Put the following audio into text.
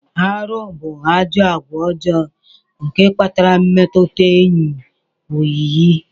Arụ bu ajọ agwa ọjọ nke kpatara mmetụta enyi oyiyi.